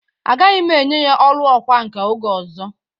Agaghi m enye ya ọrụ ọkwa nka oge ọzọ.